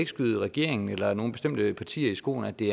skyde regeringen eller nogle bestemte partier i skoene at det